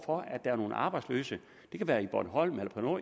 for at der er nogle arbejdsløse det kan være bornholm eller